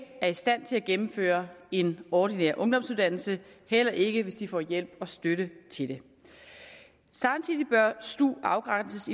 er i stand til at gennemføre en ordinær ungdomsuddannelse heller ikke hvis de får hjælp og støtte til det samtidig bør stuen afgrænses